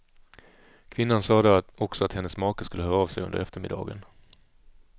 Kvinnan sade också att hennes make skulle höra av sig under eftermiddagen.